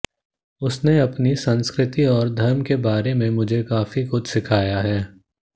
उसने अपनी संस्कृति और धर्म के बारे में मुझे काफी कुछ सिखाया है